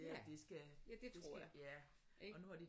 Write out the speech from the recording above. Ja ja det tror jeg ik